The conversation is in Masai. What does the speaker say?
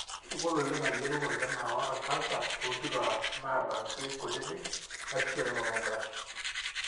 kegol oleng ayiolou olkina ota canser tonkituak naata ilkin kutiti, iasishore mammography.